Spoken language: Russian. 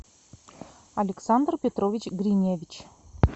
александр петрович гриневич